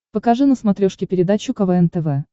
покажи на смотрешке передачу квн тв